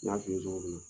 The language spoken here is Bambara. N y'a f'i ye cogo min na